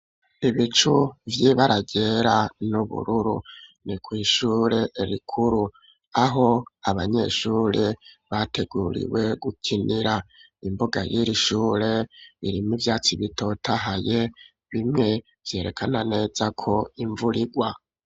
Ibicu vy'ibara ryera n'ubururu ni kw'ishure rikuru aho abanyeshuri bateguriwe gukinira, imbuga y'irishure irimwo ivyatsi bitotahaye bimwe vyerekana neza ko imvurigwa.